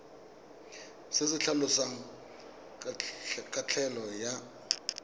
se se tlhalosang kabelo ya